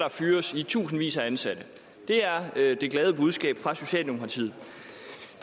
fyres i tusindvis af ansatte det er det glade budskab fra socialdemokratiet